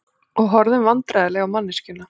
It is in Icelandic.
Og horfðum vandræðaleg á manneskjuna.